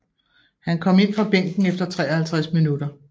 Han kom ind fra bænken efter 53 minutter